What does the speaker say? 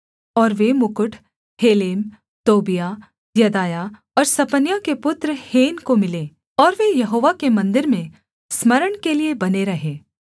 और वे मुकुट हेलेम तोबियाह यदायाह और सपन्याह के पुत्र हेन को मिलें और वे यहोवा के मन्दिर में स्मरण के लिये बने रहें